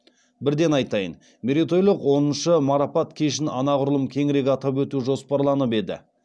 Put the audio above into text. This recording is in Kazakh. бірден айтайын мерейтойлық оныншы марапат кешін анағұрлым кеңірек атап өту жоспарланып еді